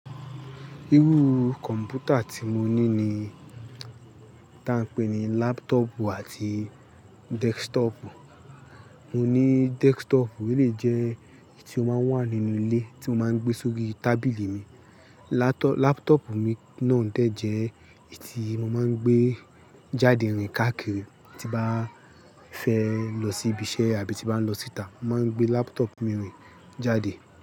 Irú kọ̀mpútà tí mo ní ni tá ń pè ní laptopu àti desktopu. Mo ní desktop, ó lè jẹ́ èyí tí ó máa ń wà nínú ilé, tí mo máa ń gbé sórí tábìlì mi. Laptopu mi náà dẹ̀ jẹ́ èyí tí mo máa ń gbé jáde rìn káàkiri. Ti bá fẹ́ lọ síbi iṣẹ́ àbí ti bá ń lọ síta, mo máa ń gbé laptop mi rìn jáde.